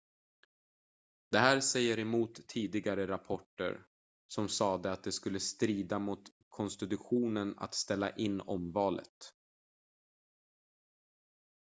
det här säger emot tidigare rapporter som sade att det skulle strida mot konstitutionen att ställa in omvalet